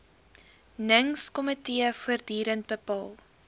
ningskomitee voortdurend bepaal